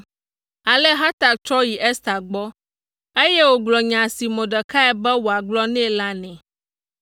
Ale Hatak trɔ yi Ester gbɔ, eye wògblɔ nya si Mordekai be wòagblɔ nɛ la nɛ.